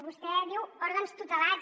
vostè diu òrgans tutelats